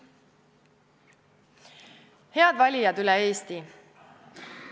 Head valijad üle Eesti!